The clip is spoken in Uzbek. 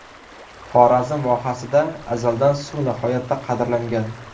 Xorazm vohasida azaldan suv nihoyatda qadrlangan.